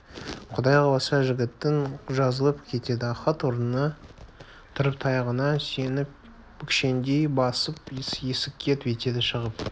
құдай қаласа жігітің жазылып кетеді ахат орнынан тұрып таяғына сүйеніп бүкшеңдей басып есікке беттеді шығып бара